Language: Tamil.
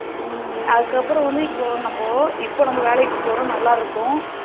உம் அதுக்கு அப்புறம் வந்து இப்போ நம்ம வந்து இப்போ நாம வேலைக்கு போறோம் நல்லா இருக்கோம்